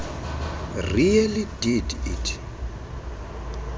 really did it